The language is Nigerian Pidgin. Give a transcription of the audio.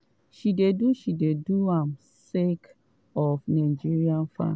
she dey do she dey do am sake of nigerian fans.